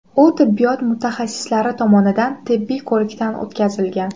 U tibbiyot mutaxassislari tomonidan tibbiy ko‘rikdan o‘tkazilgan.